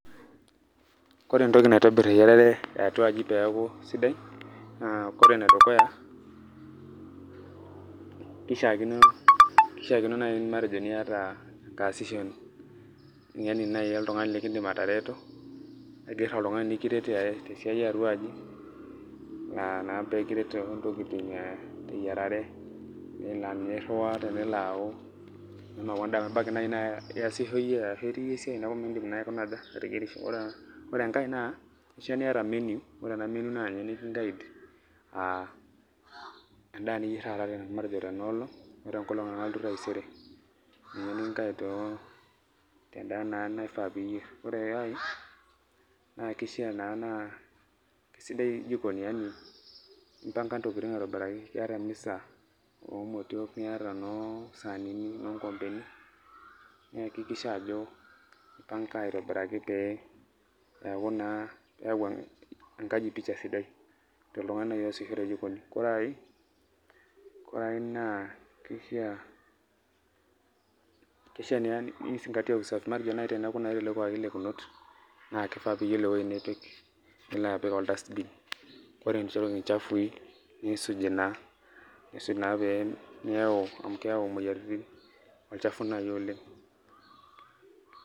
Kore entoki naitobir eyiarare eatua aji peeku sidai, naa ore enedukuya, kishaakino nai matejo enkaasishoni, yani nai oltung'ani likidim atareto, aiger oltung'ani nikiret tesiai eatua aji, anaa pekiret tontokiting teyiarare, na ninye irriwaa tenelo au meshomo au endaa amu ebaiki nai naa iasisho iyie arashu itii yie esiai neku midim naa aikuna aja, ateyierisho. Ore enkae naa, kishaa niata menu, ore ena menu naa ninye niki guide endaa niyier taata matejo tenoolong, o tenkolong nalotu taisere. Ninye niki guide tendaa naa naifaa piyier. Ore ai, na kishaa naa naa kesidai jikoni yani impanga ntokiting aitobiraki. Iyata emisa omotiok, niata enoo sanini, nonkompeni, niakikisha ajo impanga aitobiraki pe peku naa keyau enkaji picha sidai, toltung'ani nai osisho tejikoni. Kore ai, kore ai naa kishaa ni zingatia usafi, matejo nai teneeku naa etelekuaki lekunot, na kifaa piyiolo ewoi nipik, nilo apik ol dustbin. Ore nche intokiting chafui, nisuj naa, aisuj naa pemeu amu keeu moyiaritin olchafu nai oleng'.